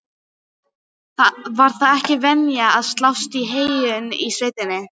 Var það ekki venja að slást í heyinu í sveitinni?